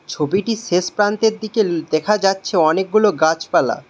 ছবিটির শেষ প্রান্তের দিকে দেখা যাচ্ছে অনেকগুলো গাছপালা।